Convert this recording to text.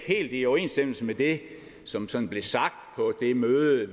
er i overensstemmelse med det som sådan blev sagt på det møde